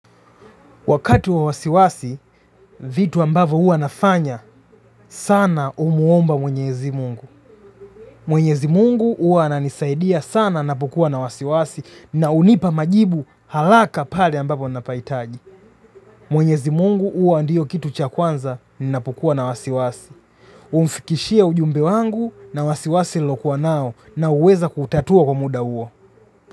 Wakati wa wasiwasi, vitu ambavyo huwa nafanya sana kumuomba mwenyezi mungu. Mwenyezi mungu uwa ananisaidia sana napokua na wasiwasi na hunipa majibu haraka pale ambapo napahitaji. Mwenyezi mungu huwa ndiyo kitu cha kwanza, ninapokuwa na wasiwasi. Humfikishia ujumbe wangu na wasiwasi niliokuwa nao na huweza kuutatua kwa muda huo.